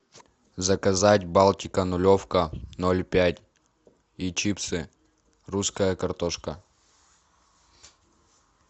заказать балтика нулевка ноль пять и чипсы русская картошка